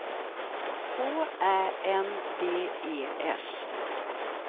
K Ä N D E S